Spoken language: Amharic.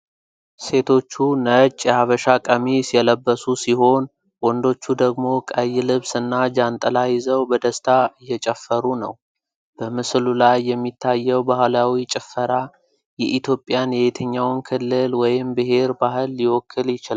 ሴቶቹ ነጭ የሐበሻ ቀሚስ የለበሱ ሲሆን፣ ወንዶቹ ደግሞ ቀይ ልብስ እና ጃንጥላ ይዘው በደስታ እየጨፈሩ ነው። በምስሉ ላይ የሚታየው ባህላዊ ጭፈራ የኢትዮጵያን የየትኛውን ክልል ወይም ብሔር ባህል ሊወክል ይችላል?